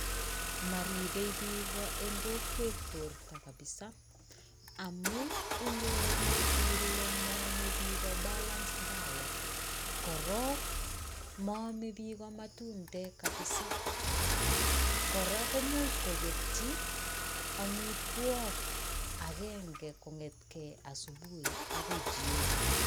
Maribei piik eng kokwet borta kabisa amuu inyoru ile maame piik [balanced] [diet] korok. Maame piik matundek kabisa, kora komuch koketchi amitwok agenge kongetkei asubui akoi jioni.